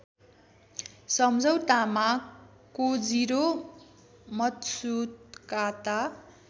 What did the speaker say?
सम्झौतामा Kojiro Matsukata